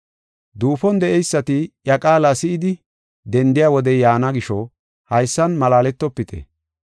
“Duufon de7eysati iya qaala si7idi dendiya wodey yaana gisho haysan malaaletofite.